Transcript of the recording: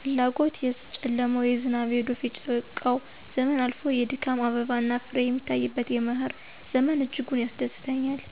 ፍላጎት የጨለማው፣ የዝናብ፣ የዶፍ፣ የጭቃው ዘመን አልፎ የድካም አበባና ፍሬ የሚታይበት የመኸር ዘመን እጅጉን ያስደስተኛል።